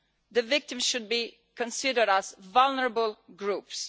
The victims should be considered vulnerable groups.